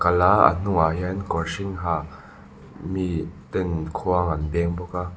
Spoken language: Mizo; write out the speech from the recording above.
kal a a hnungah hian kawr hring ha mi ten khuang an beng bawk a.